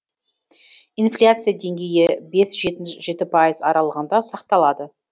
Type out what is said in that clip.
инфляция деңгейі бес жеті пайыз аралығында сақталады